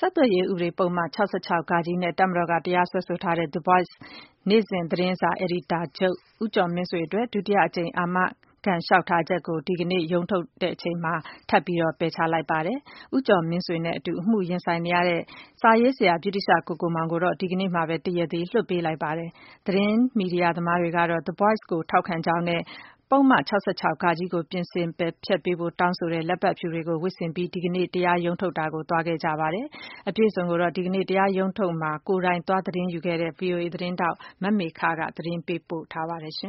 ဆက်သွယ်ရေးဥပဒေပုဒ်မ ၆၆ (ဃ) နဲ့ တပ်မတော်က တရားစွဲဆိုထားတဲ့ The Voice နေ့စဉ်သတင်းစာ အယ်ဒီတာချုပ် ဦးကျော်မင်းဆွေအတွက် ဒုတိယအကြိမ် အာမခံလေ ျှာက်ထားချက်ကို ဒီကနေ့ရုံးထုတ်မှာ ဒုတိယအကြိမ် ထပ်ပြီးပယ်ချလိုက်ပါတယ်။ ဦးကျော်မင်းဆွေနဲ့အတူ အမှုရင်ဆိုင်နေရတဲ့ စာရေးဆရာ ဗြိတိသ ျှကိုကိုမောင်ကိုတော့ ဒီကနေ့မှာပဲ တရားသေ လွှတ်ပေးလိုက်ပါတယ်။ သတင်းမီဒီယာသမားတွေကတော့ The Voice ကိုထောက်ခံ ကြောင်းနဲ့ ပုဒ်မ ၆၆ (ဃ) ကို ပြင်ဆင် ပယ်ဖျက်ပေးဖို့ တောင်းဆိုတဲ့ လက်ပတ်ဖြူတွေကို ဝတ်ဆင်ပြီး ဒီကနေ့ တရားရုံးထုတ်ကို သွားခဲ့ကြပါတယ်။ အပြည့်အစုံ ကို ဒီကနေ့ တရားရုံးထုတ်မှာ ကိုယ်တိုင်သတင်းသွားယူခဲ့တဲ့ ဗွီအိုအေ သတင်းထောက် မမေခက သတင်းပေးပို့ထားပါတယ်။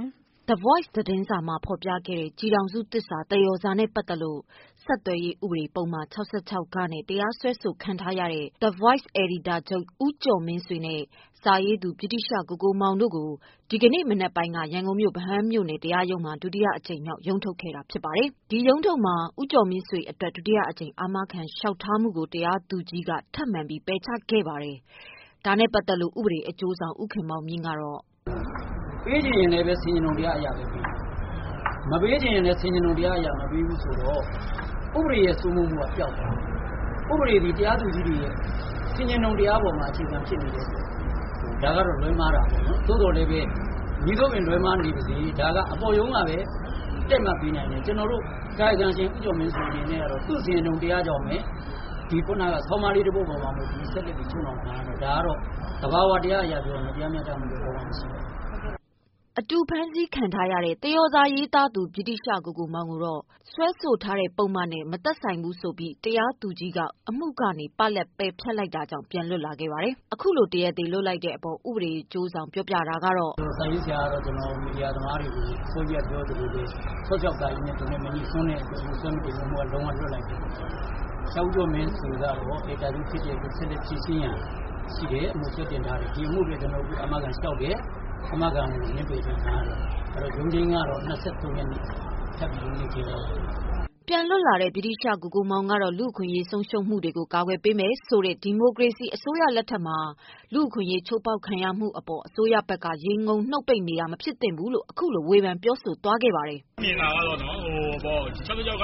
The Voice သတင်းစာမှာ ဖော်ပြခဲ့တဲ့ ကျည်ထောင်စုသစ္စာ သရော်စာနဲ့ပတ်သက်လို့ ဆက်သွယ်ရေး ဥပဒေပုဒ်မ ၆၆(ဃ)နဲ့ တရားစွဲဆိုခံထားရတဲ့The Voice အယ်ဒီတာချုပ် ဦးကျော်မင်းဆွေနဲ့ စာရေးသူ ဗြိတိသျှကိုကိုမောင်တို့ကို ဒီကနေ့ မနက်ပိုင်းက ရန်ကုန်မြို့ ဗဟန်းမြို့နယ် တရားရုံးမှာ ဒုတိယအကြိမ်မြောက် ရုံးထုတ်ခဲ့တာဖြစ်ပြီး ဦးကျော်မင်းဆွေ အတွက် ဒုတိယအကြိမ် အာမခံလျှေက်ထားမှုကို တရားသူကြီးက ထပ်ပြီး ပယ်ချခဲ့ပါတယ်။ ဒါနဲ့ပတ်သက်လို့ ဥပဒေအကျိုးဆောင်ဖြစ်သူ ဦးခင်မောင်မြင့်က - " ပေးချင်ရင်လည်းပဲ ဆင်ခြင်တုံတရားအရပဲ ပေးမှာပါ။ မပေးချင်ရင်လည်း ဆင်ခြင်တုံတရားအရ မပေးဘူးဆိုတော့ ဥပဒေရဲ့စိုးမိုးမှုက ပျောက်သွားပြီ။ ဥပဒေသည် တရားသူကြီးတွေရဲ့ ဆင်ခြင်တုံတရားအပေါ်မှာ အခြေခံနေတဲ့အတွက် ဒါကတော့ လွဲမှားတာပေါ့နော်။ သို့သော်လည်းပဲ မည်သို့ပင်လွဲမှားနေပါစေ ဒါ အပေါ်ရုံးကပဲ တည့်မတ်ပေးနိုင်တယ် ကျနော်တို့ ကာယကံရှင်ဦးကျော်မင်းဆွေအနေနဲ့ကတော့ သူ့ဆင်ခြင်တုံတရားကြောင့်ပဲ ဆောင်းပါးလေးတပုဒ်အပေါ် အခြေခံပြီး ဆက်လက် ချုပ်နှောင်ခံရတော့ ဒါကတော့ သဘာဝတရားအရ တရားမျှတမှု လုံးဝ မရှိပါဘူး။" အတူဖမ်းဆီးခံထားရတဲ့ သရော်စာရေးသူ ဗြိတိသျှ ကိုကိုမောင်ကိုတော့ စွဲဆိုထားတဲ့ပုဒ်မနဲ့ မသက်ဆိုင်ဘူးဆိုပြီး တရားသူကြီးက အမှုကနေ ပလပ် ပယ်ဖျက်လိုက်တာကြောင့် ပြန်လွတ်လာပါတယ်။ အခုလို တရားသေလွှတ်လိုက်တဲ့အပေါ် ဥပဒေအကျိုးဆောင် ပြောပြတာကတော့ - "စာရေးဆရာကတော့ မီဒီယာသမားတွေကို အစောကြီးကပြောသလိုပဲ ၆၆ ဃနဲ့ သူနဲ့မငြိစွန်းတဲ့အတွက် စွဲချက်မတင်ပဲ လုံးဝ လွှတ်လိုက်တယ်။ ဆရာဦးကျော်မင်းဆွေ ကတော့ အယ်ဒီတာချုပ်ဖြစ်တဲ့အတွက် ဆက်လက်ပြီး ဖြေရှင်းရန်ရှိတယ် အမှုကတော့ တင်ထားတယ် ဒီအမှုအတွက် ကျနော်တို့ကတော့ အာမခံလျှောက်တယ် အာမခံကို ငြင်းပယ်ခြင်း ခံထားရတယ်။ အဲ့တော့ ရုံးချိန်းကတော့ ၂၃ရက်နေ့။ ရုံးချိန်းထပ်ချိန်းထားပါတယ်။" ပြန်လွတ်လာတဲ့ ဗြိတိသျှကိုကိုမောင်ကတော့ လူ့အခွင့်အရေး ဆုံးရှုံးမှုတွေကို ကာကွယ်ပေးမယ် ဆိုတဲ့ ဒီမိုကရေစီအစိုးရလက်ထက် လူ့အခွင့်အရေး ချိုးဖောက်ခံနေရမှု အပေါ် အစိုးရဘက်က ရေငုံနှုတ်ပိတ်နေတာ မဖြစ်သင့်ဘူးလို့ အခုလိုဝေဖန်ပြောဆို ပါတယ်။ " ၆၆ ဃ ကို ဒီမိုက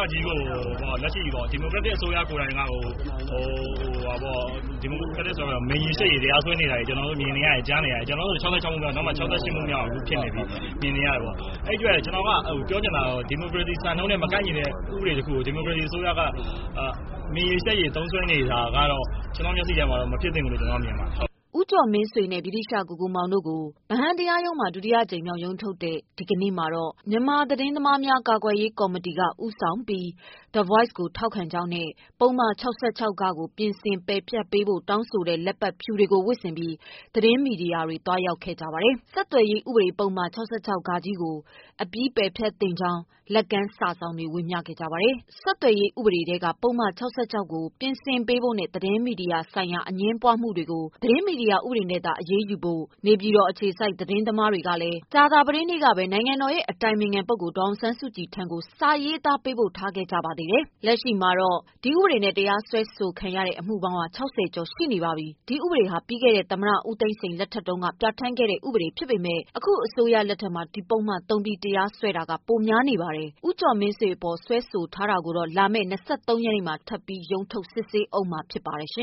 ရက်တစ်အစိုးရကိုယ်တိုင်ကကို မြိန်ရည်ရှက်ရည် တရားစွဲဆိုနေတာကို ကျနော်တို့မြင်နေရတယ် ကြားနေရတယ်။ ကျနော်တို့ဆို ၆၆ မှုမြောက် အခုဆို ၆၈မှုမြောက်ဖြစ်နေပြီ။ အဲ့တော့ ကျနော်ပြောချင်တာကတော့ ဒီမိုကရေစီစံနှုန်းနဲ့ မကိုက်ညီတဲ့ ဥပဒေကို ဒီမိုကရေစီအစိုးရ မြိန်ရည်ရှက်ရည်သုံးစွဲနေတာကတော့ ကျနော်မျက်စိထဲမှာ မဖြစ်သင့်ဘူးလို့ ကျနော်မြင်ပါတယ်။" ဦးကျော်မင်းဆွေနဲ့ ဗြိတိသျှ ကိုကိုမောင်တို့ကို ဗဟန်းတရားရုံးမှာ ဒုတိယအကြိမ်မြောက် ရုံးထုတ်တဲ့ ဒီကနေ့မှာ မြန်မာသတင်း သမားများ ကာကွယ်ရေးကော်မတီက ဦးဆောင်ပြီး The Voice ကိုထောက်ခံကြောင်းနဲ့ ပုဒ်မ ၆၆ (ဃ) ကို ပြင်ဆင် ပယ်ဖျက်ပေး ဖို့ တောင်းဆိုတဲ့ လက်ပတ်ဖြူတွေကိုဝတ်ဆင်ပြီး သတင်းမီဒီယာသမားတွေ သွားရောက်ခဲ့ကြပါတယ်။ ဆက်သွယ်ရေးဥပဒေပုဒ်မ ၆၆ (ဃ) ကို အပြီးပယ် ဖျက်သင့်ကြောင်း လက်ကမ်းစာစောင်တွေ ဝေကြပါတယ်။ ဆက်သွယ်ရေးဥပဒေထဲက ပုဒ်မ ၆၆ (ဃ) ကို ပြင်ဆင်ပေးဖို့နဲ့ သတင်းမီဒီယာဆိုင်ရာ အငြင်းပွားမှုတွေကို သတင်းမီဒီယာ ဥပဒေနဲ့သာ အရေးယူဖို့ နေပြည်တော်အခြေစိုက် သတင်းသမားတွေကလည်း ကြာသပတေးနေ့ကပဲ နိုင်ငံတော်ရဲ့အတိုင်ပင်ခံ ပုဂ္ဂိုလ် ဒေါ်အောင်ဆန်းစုကြည်ထံကို စာရေးသား ပေးပို့ထားကြပါသေးတယ်။ လက်ရှိမှာ ဒီဥပဒေနဲ့တရားစွဲခံထားရတဲ့ အမှုပေါင်း ၆၀ ကျော်ရှိပါတယ်။ ဒီဥပဒေဟာ ပြီးခဲ့တဲ့ ဦးသိန်းစိန်အစိုးရလက်ထက်တုန်းက ပြဌာန်းခဲ့တာဖြစ်ပေမယ့် အခုအစိုးရ လက်ထက်မှာ ဒီပုဒ်မသုံးပြီး တရားစွဲတာက ပိုများပါတယ်။ ဦးကျော်မင်းဆွေ အပေါ် စွဲဆိုထား တာကိုတော့ လာမယ့် ၂၃ ရက်နေ့မှာ ထပ်ပြီး ရုံးထုတ်စစ်ဆေးဦးမှာဖြစ်ပါတယ်။